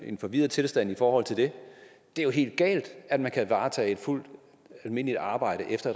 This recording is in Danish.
i en forvirret tilstand i forhold til det det er helt galt at man kan varetage et fuldt almindeligt arbejde efter